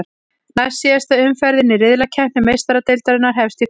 Næstsíðasta umferðin í riðlakeppni Meistaradeildarinnar hefst í kvöld.